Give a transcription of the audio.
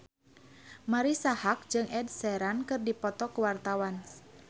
Marisa Haque jeung Ed Sheeran keur dipoto ku wartawan